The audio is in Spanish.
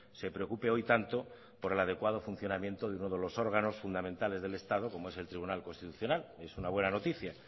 se preocupe hoy tanto por el adecuado funcionamiento de uno de los órganos fundamentales del estado como es el tribunal constitucional es una buena noticia